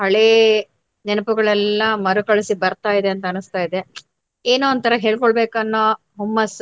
ಹಳೇ ನೆನಪುಗಳೆಲ್ಲ ಮರುಕಳಿಸಿ ಬರ್ತಾಯಿದೆ ಅಂತ ಅನ್ಸ್ತಾಯಿದೆ. ಏನೋ ಒಂಥರ ಹೇಳ್ಕೊಳ್ಬೇಕು ಅನ್ನೋ ಹೊಮ್ಮಸ್ಸು.